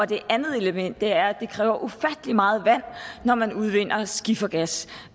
det andet element er at det kræver ufattelig meget vand når man udvinder skifergas